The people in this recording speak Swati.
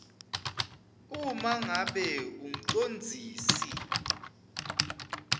uma ngabe umcondzisi